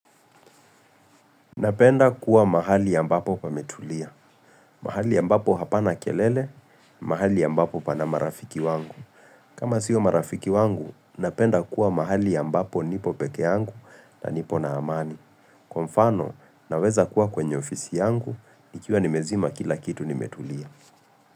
Napenda kuwa mahali ambapo pa metulia. Mahali ambapo hapana kelele, mahali ambapo pana marafiki wangu. Kama sio marafiki wangu, napenda kuwa mahali ambapo nipo peke yangu na nipo na amani. Kwa mfano, naweza kuwa kwenye ofisi yangu, nikiwa nimezima kila kitu ni metulia.